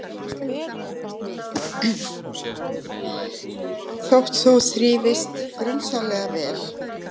Þótt þú þrífist grunsamlega vel.